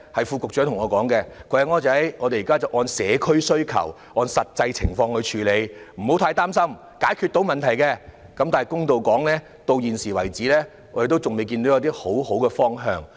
副局長曾經告訴我："我們現時是按社區需求、按實際情況處理，不要太擔心，問題是可以解決的"，但公道說，直至現時為止，我們仍然未看到一些好的方向。